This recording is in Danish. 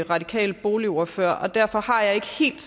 radikal boligordfører og derfor har jeg ikke helt